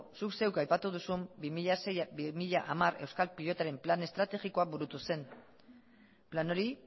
zuk zeuk aipatu duzun bi mila sei bi mila hamar euskal pilotaren plan estrategikoa burutu zen plan hori